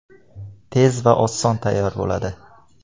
Tez va oson tayyor bo‘ladi.